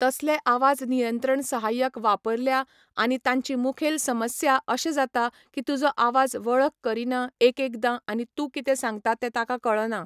तसले आवाज नियंत्रण सहाय्यक वापरल्या आनी तांची मुखेल समस्या अशे जाता की तुजो आवाज वळख करिना एकएकदां आनी तूं कितें सांगता ते ताका कळना